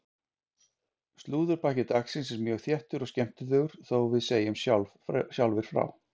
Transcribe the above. Slúðurpakki dagsins er mjög þéttur og skemmtilegur þó við segjum sjálfir frá!